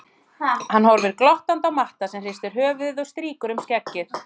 Hann horfir glottandi á Matta sem hristir höfuðið og strýkur um skeggið.